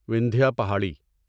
Vindhya Pahari